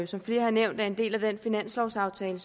som flere har nævnt er en del af den finanslovaftale